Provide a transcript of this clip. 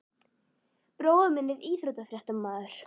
Bróðir minn er íþróttafréttamaður.